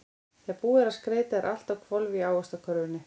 Þegar búið er að skreyta er allt á hvolfi í Ávaxtakörfunni.